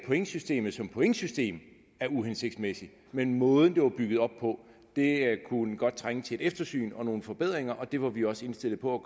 pointsystemet som pointsystem er uhensigtsmæssigt men måden det var bygget op på kunne godt trænge til et eftersyn og nogle forbedringer og det var vi også indstillet på at